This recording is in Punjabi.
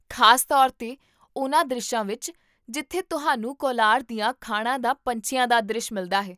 ਖ਼ਾਸ ਤੌਰ 'ਤੇ ਉਨ੍ਹਾਂ ਦ੍ਰਿਸ਼ਾਂ ਵਿੱਚ ਜਿੱਥੇ ਤੁਹਾਨੂੰ ਕੋਲਾਰ ਦੀਆਂ ਖਾਣਾਂ ਦਾ ਪੰਛੀਆਂ ਦਾ ਦ੍ਰਿਸ਼ ਮਿਲਦਾ ਹੈ